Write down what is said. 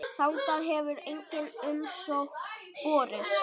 Þangað hefur engin umsókn borist.